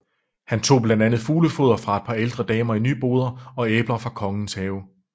Han tog blandt andet fuglefoder fra et par ældre damer i Nyboder og æbler fra Kongens Have